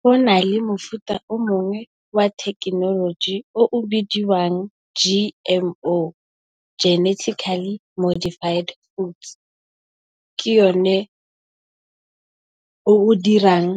Go nale mofuta o mongwe wa thekenoloji o o bidiwang G_M_O Geneticaly Modified Oats. Ke yone o o dirang